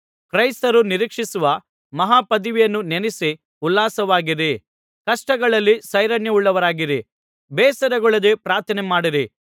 ಕ್ರೈಸ್ತರು ನಿರೀಕ್ಷಿಸುವ ಮಹಾಪದವಿಯನ್ನು ನೆನಸಿ ಉಲ್ಲಾಸವಾಗಿರಿ ಕಷ್ಟಗಳಲ್ಲಿ ಸೈರಣೆಯುಳ್ಳವರಾಗಿರಿ ಬೇಸರಗೊಳ್ಳದೆ ಪ್ರಾರ್ಥನೆ ಮಾಡಿರಿ